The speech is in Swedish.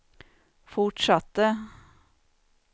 fortsatte